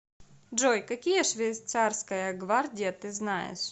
джой какие швейцарская гвардия ты знаешь